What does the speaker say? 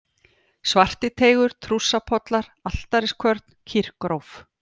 Svartiteigur, Trússapollar, Altariskvörn, Kýrgróf